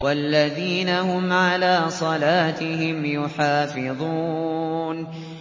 وَالَّذِينَ هُمْ عَلَىٰ صَلَاتِهِمْ يُحَافِظُونَ